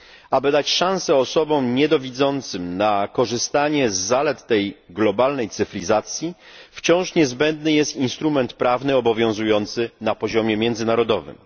Aby dać szansę osobom niedowidzącym na korzystanie z zalet tej globalnej cyfryzacji, wciąż niezbędny jest instrument prawny obowiązujący na poziomie międzynarodowym.